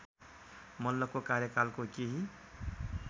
मल्लको कार्यकालको केही